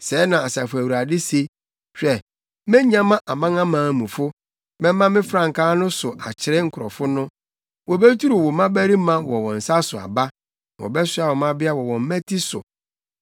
Sɛɛ na Asafo Awurade se: “Hwɛ, menyama amanamanmufo, mɛma me frankaa no so akyerɛ nkurɔfo no wobeturu wo mmabarima wɔ wɔn nsa so aba na wɔbɛsoa wo mmabea wɔ wɔn mmati so.